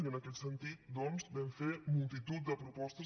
i en aquest sentit doncs vam fer multitud de propostes